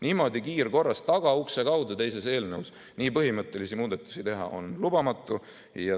Niimoodi kiirkorras, tagaukse kaudu teises eelnõus nii põhimõttelisi muudatusi teha on lubamatu.